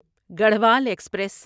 Garhwal express